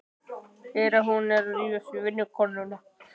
Ég heyri að hún er að rífast við vinnukonuna.